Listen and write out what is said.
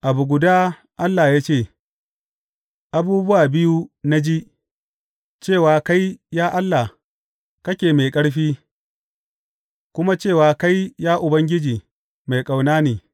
Abu guda Allah ya ce, abubuwa biyu na ji, Cewa kai, ya Allah, kake mai ƙarfi, kuma cewa kai, ya Ubangiji, mai ƙauna ne.